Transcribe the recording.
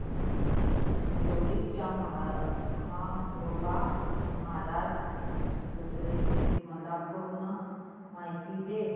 दोडी च्या म्हाळोबा महाराज यात्रेची मला पूर्ण माहिती दे